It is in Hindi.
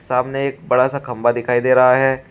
सामने एक बड़ा सा खंबा दिखाई दे रहा है।